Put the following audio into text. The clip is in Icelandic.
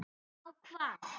Á hvað?